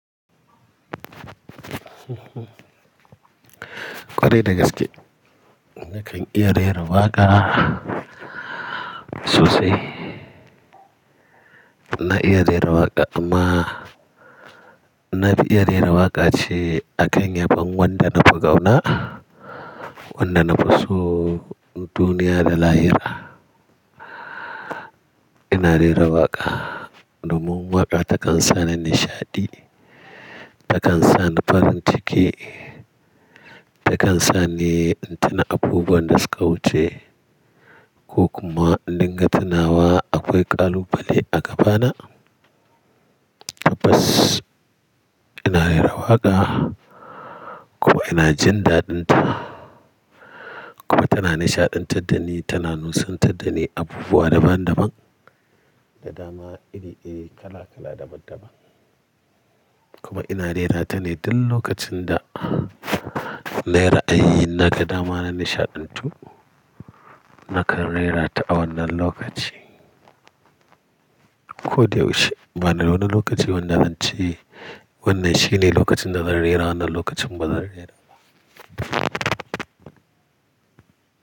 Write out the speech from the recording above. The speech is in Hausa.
Kwarai da gaske, nakan iya rera waƙa sosai. Na iya rera waƙa amma na fi iya rera waƙa ce a kan yabon wanda na fi kauna, wanda na fi so duniya da lahira. Ina rera waƙa domin waƙa takan sa ni nishaɗi, takan sa ni farin ciki, takan sa ni in tuna abubuwan da suka wuce ko kuma in dinga tunawa akwai ƙalubale a gabana. Tabbas ina rera waƙa kuma ina jin daɗinta. Kuma tana nishaɗantar da ni, tana nusantar da ni abubuwa daban daban da dama iri iri kala kala daban daban. Kuma ina rera ta ne duk lokacin da na yi ra'ayi naga dama na nishaɗantu, nakan rera ta a wannan lokaci. Ko da yaushe bana wannan lokaci wanda ance. Wannan shine lokacin da zan rera wannan lokacin bazan rera ba.